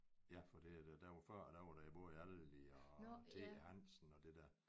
Ja for det er der hvor før der var det både Aldi og Thansen og det der